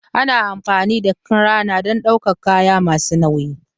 Ana amfani da cranes don ɗaukar kaya masu nauyi